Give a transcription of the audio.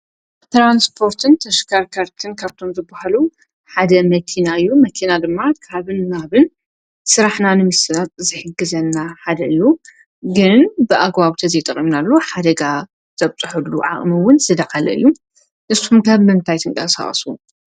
ብተራንስጶርትን ተሽከርከርትን ከብቶም ዝብሃሉ ሓደ መኪናዩ መኪና ድማ ካብንናብን ሥራሕ ናንም ተናት ዘሕግዘና ሓደዩ ግን ብኣግዋብተ ዘይጠቕምናሉ ሓደጋ ዘብጽሑሉ ዓቕምውን ዝደኸለዩ ንስቱም ከብ መንታይ ትንቃ ሰዋሱ።